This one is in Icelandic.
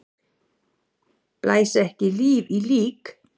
Blæs ekki lífi í lík!